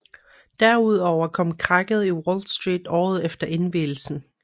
Derudover kom krakket i Wall Street året efter indvielsen